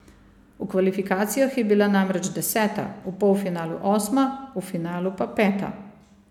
V kvalifikacijah je bila namreč deseta, v polfinalu osma, v finalu pa peta.